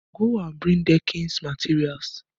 Go and bring deckings materials!